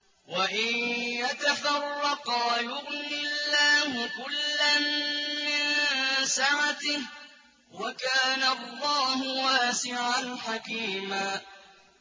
وَإِن يَتَفَرَّقَا يُغْنِ اللَّهُ كُلًّا مِّن سَعَتِهِ ۚ وَكَانَ اللَّهُ وَاسِعًا حَكِيمًا